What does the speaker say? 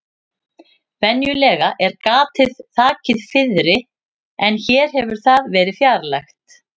Venjulega er gatið þakið fiðri en hér hefur það verið fjarlægt.